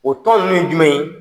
O tɔn nunnu ye jumɛn ye?